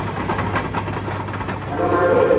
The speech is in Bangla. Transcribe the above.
Hello মানিক